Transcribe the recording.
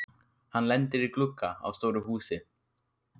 Hann lendir í glugga á stóru húsi.